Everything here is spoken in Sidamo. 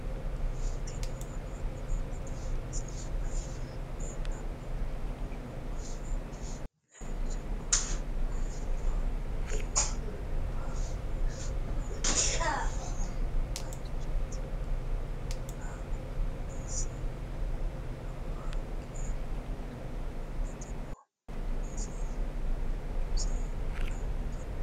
tini aleni leltano misileni maayi leelano yinnumoro. kuuni bayichoho. mayiniho yinumoro waa wonshinani bayichoti. uula mulesi lowo haaqe duunante noo. muulesi muze qalte noo.